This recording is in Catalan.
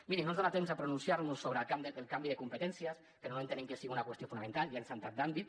miri no ens dona temps a pronunciar nos sobre el canvi de competències però no entenem que sigui una qüestió fonamental ja hem saltat d’àmbit